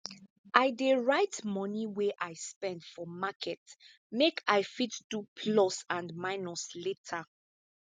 i dey write moni wey i spend for market make i fit do plus and minus later